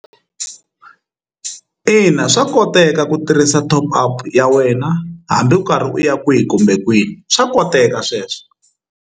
Ina swa koteka ku tirhisa top up ya wena hambi u karhi u ya kwihi kumbe kwihi swa koteka sweswo.